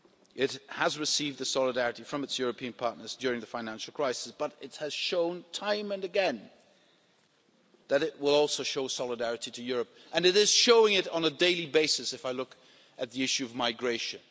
It did receive solidarity from its European partners during the financial crisis, but it has shown time and again that it will also show solidarity to Europe, and it is showing it on a daily basis if I look at the issue of migration.